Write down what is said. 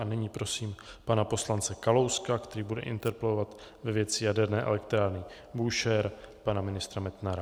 A nyní prosím pana poslance Kalouska, který bude interpelovat ve věci jaderné elektrárny Búšehr pana ministra Metnara.